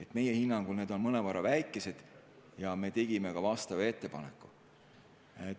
Ka meie hinnangul on need mõnevõrra väikesed ja me tegime vastava ettepaneku.